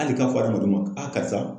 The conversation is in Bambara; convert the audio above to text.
Hali ka fɔ adamaden ma a karisa.